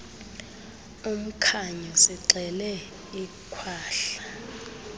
umkhanyo sixele ikhwahla